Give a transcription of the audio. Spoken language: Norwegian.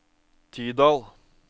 Tydal